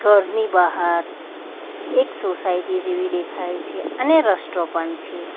ઘરની બહાર એક સોસાયટી જેવી દેખાય છે અને રસ્ટો પણ છે.